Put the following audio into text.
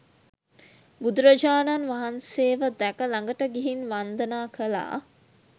බුදුරජාණන් වහන්සේව දැක ළඟට ගිහින් වන්දනා කළා.